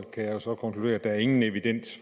jeg jo så konkludere at der ingen evidens